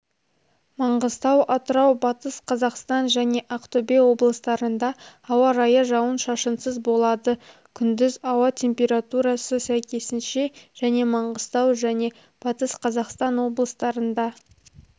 маңғыстау атырау батыс қазақстан және ақтөбе облыстарында ауа райы жауын-шашынсыз болады күндіз ауа температурасы сәйкесінше және маңғыстау және батыс қазақстан облыстарында